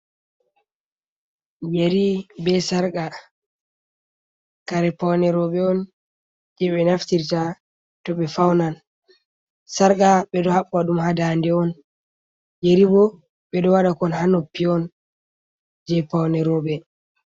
Yeri be sarka kare paune roɓe on je ɓe naftirta to be faunan sarka ɓe ɗo haɓɓa dum ha danɗe on yari bo ɓe ɗo wada kon ha noppi on je paune roɓe.